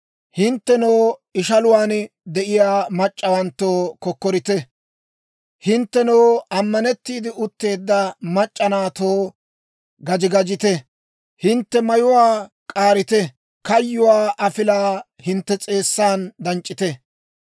Hinttenoo ishaluwaan de'iyaa mac'c'awanttoo, kokkorite. Hinttenoo ammanettiide utteedda mac'c'a naatoo, gaji gajite. Hintte mayuwaa k'aarite; kayyuwaa afilaa hintte s'eessan danc'c'ite.